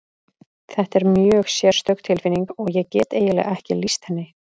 Þetta er mjög sérstök tilfinning og ég get eiginlega ekki lýst henni.